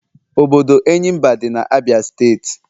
Obodo Enyimba di na Abia state.